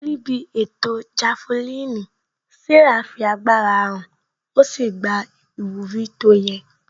Níbi ètò jafelini, Sarah fi agbára hàn ó sì gba ìwúrí tó yẹ